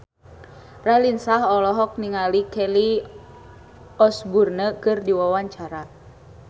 Raline Shah olohok ningali Kelly Osbourne keur diwawancara